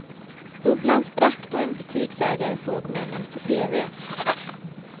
Bubblan sprack då en butiksägare såg männen på tv.